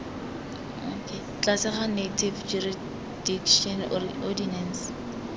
tlase ga native jurisdiction ordinance